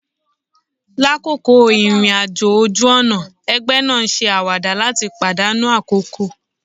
Lakoko irin-ajo oju-ọna, ẹgbẹ naa n se awada lat padanu akoko